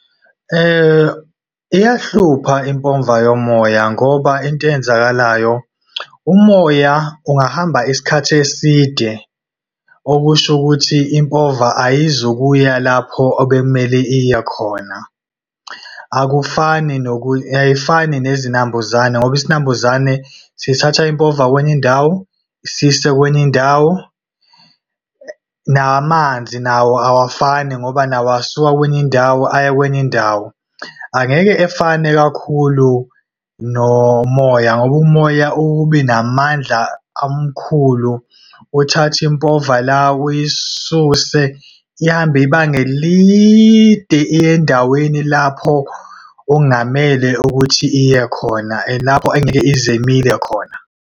Iyahlupha impova yomoya ngoba, into eyenzakalayo, umoya ungahamba isikhathi eside okusho ukuthi impova ayizukuya lapho obekumele iyekhona. Akufani ayifani nezinambuzane ngoba isinambuzane sithatha impova kwenye indawo, siyise kwenye indawo. Namanzi nawo awafani, ngoba nawo asuka kwenye indawo, aya kwenye indawo. Angeke efane kakhulu nomoya, ngoba umoya ukube namandla amakhulu, uthathe impova la, uyisuse ihambe ibanga elide, iye endaweni lapho okungamele ukuthi iye khona, lapho engeke ize imile khona.